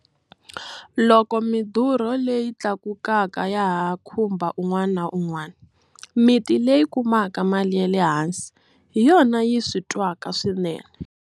Loko midurho leyi tlakukaka ya ha khumba un'wana na un'wana, miti leyi kumaka mali ya le hansi hi yona yi swi twaka swinene.